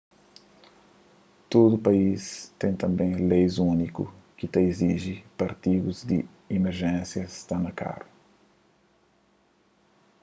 tudu país ten tanbê leis úniku ki ta iziji pa artigus di imerjénsia sta na karu